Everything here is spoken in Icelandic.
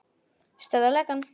Stöðva lekann.